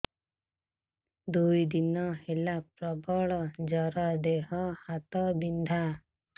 ଦୁଇ ଦିନ ହେଲା ପ୍ରବଳ ଜର ଦେହ ହାତ ବିନ୍ଧା